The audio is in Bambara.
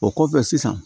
O kɔfɛ sisan